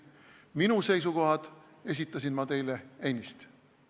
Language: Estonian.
Oma seisukohad ma teile ennist esitasin.